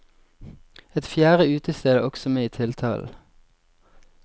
Et fjerde utested er også med i tiltalen.